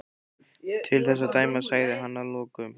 Til þess að dæma sagði hann að lokum.